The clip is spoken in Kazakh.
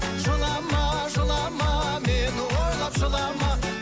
жылама жылама мені ойлап жылама